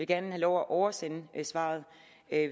gerne have lov at oversende svaret